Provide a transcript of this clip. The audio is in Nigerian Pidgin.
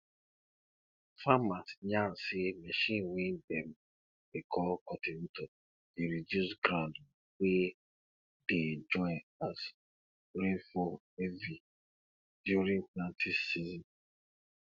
farmers yarn say machine wey dem dey call cultivator dey reduce ground wey dey join as rain fall heavy during planting season